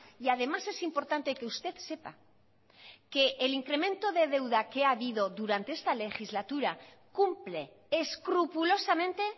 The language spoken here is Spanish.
y además es importante que usted sepa que el incremento de deuda que ha habido durante esta legislatura cumple escrupulosamente